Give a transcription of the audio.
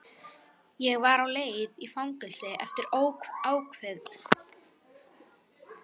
Ég var á leið í fangelsi eftir óákveðinn tíma.